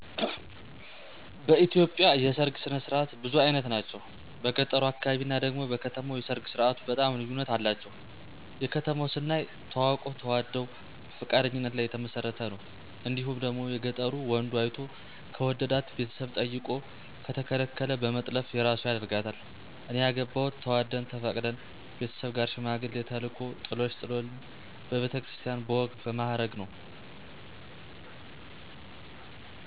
በኢትዮጵያ የሠርግ ስነ ስርዓት ብዙ አይነት ናቸው። በገጠሩ አካባቢ እና ደግሞ በከተማው የሰርግ ስርዓቱ በጣም ልዩነት አላቸው። የከተማው ስናይ ተዋውቀው ተዋደው በፈቃደኝነት ላይ የተመሰረተ ነው እንዲሁም ደግሞ የገጠሩ ወንዱ አይቶ ከወደዳት ቤተሰብ ጠይቆ ከተከለከለ በመጥለፍ የራሱ ያረጋታል። እኔ ያገባሁት ተዋደን ተፈቃቅደን ቤተሠብ ጋር ሽማግሌ ተልኮ ጥሎሽ ጥሎልኝ በቤተ ክርስቲያን በወግ በማረግ ነው።